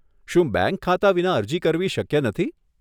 શું બેંક ખાતા વિના અરજી કરવી શક્ય નથી?